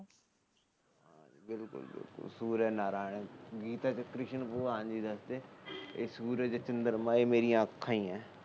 ਸੁਰਜ ਨਾਰਾਇਣ ਗੀਤਾ ਚ ਕ੍ਰਿਸ਼ਨ ਭਗਵਾਨ ਜੀ ਦੱਸਦੇ ਸੁਰਜ ਚੰਦਰਮਾ ਇਹ ਮੇਰੀਆਂ ਅੱਖਾ ਈਏ